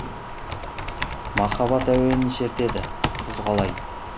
махаббат әуенін шертеді күз қалай